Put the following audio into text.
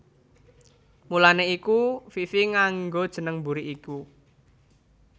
Mulané iku Fifi nganggo jeneng mburi iku